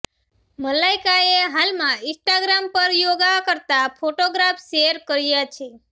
મલાઈકાએ હાલમાં ઈન્સ્ટાગ્રામ પર યોગા કરતા ફોટોગ્રાફ શેર કર્યા છે